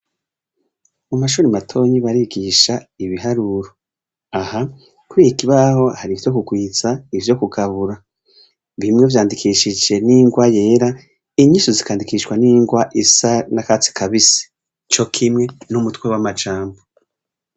Mumashure matoya barigisha Ibiharuro, aha kuriki kibaho har'ivyo kugwiza no kugabura bimwe vyandikishijwe n'ingwa yera inyishu zikandikishwa n'ingwa yakatsi kabisi cokimwe n'umutwe w'amajambo.